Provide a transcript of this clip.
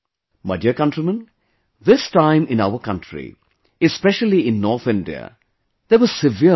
My dear countrymen, this time in our country, especially in North India, there was severe winter